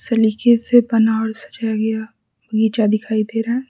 सलीखे से पनाड़ सजाया गया नीचा दिखाई दे रहा है।